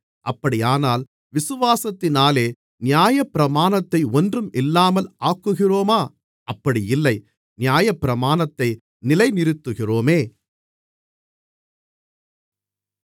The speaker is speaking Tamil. அப்படியானால் விசுவாசத்தினாலே நியாயப்பிரமாணத்தை ஒன்றுமில்லாமல் ஆக்குகிறோமா அப்படி இல்லை நியாயப்பிரமாணத்தை நிலைநிறுத்துகிறோமே